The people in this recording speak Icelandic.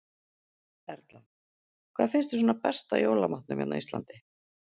Erla: Hvað finnst þér svona best af jólamatnum hérna á Íslandi?